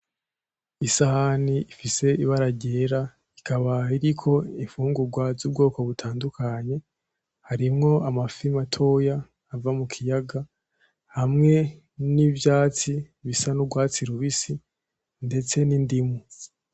Isahani ifise ibara ryera ikaba iriko imfungurwa z'ubwoko butandukanye, harimwo amafi matoya ava mukiyaga, hamwe n'ivyatsi bisa n'urwatsi rubisi, ndetse n'indimu.